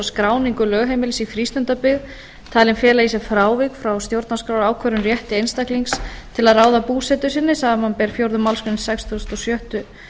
skráningu lögheimilis í frístundabyggð talin fela í sér frávik frá stjórnarskrárákvörðuðum rétti einstaklings til að ráða búsetu sinni samanber fjórðu málsgrein sextugustu og sjöttu